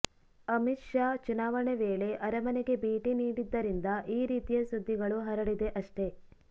ಅಮಿತ್ ಶಾ ಚುನಾವಣೆ ವೇಳೆ ಅರಮನೆಗೆ ಭೇಟಿ ನೀಡಿದ್ದರಿಂದ ಈ ರೀತಿಯ ಸುದ್ದಿಗಳು ಹರಡಿದೆ ಅಷ್ಟೇ